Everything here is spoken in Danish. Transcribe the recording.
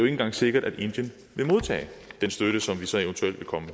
engang sikkert at indien vil modtage den støtte som vi så evt vil komme